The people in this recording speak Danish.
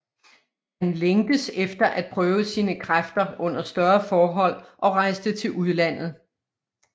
Han længtes efter at prøve sine kræfter under større forhold og rejste til udlandet